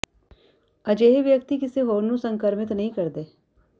ਅਜਿਹੇ ਵਿਅਕਤੀ ਹੁਣ ਕਿਸੇ ਹੋਰ ਨੂੰ ਸੰਕਰਮਿਤ ਨਹੀਂ ਕਰਦੇ